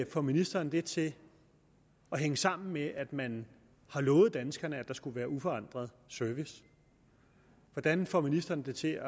får ministeren det til at hænge sammen med at man har lovet danskerne at der skulle være uforandret service hvordan får ministeren det til